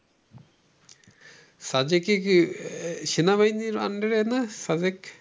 সাজেকে কি সেনাবাহিনীর under এ না সাজকে?